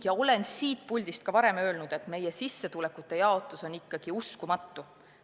Ma olen siit puldist ka varem öelnud, et meie sissetulekute jaotus on ikkagi uskumatu.